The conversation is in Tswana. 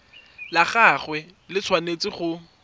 la gagwe le tshwanetse go